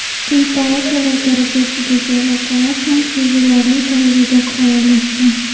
Quyi palatalar darajasidagi aloqalar ham sezilarli darajada faollashgan.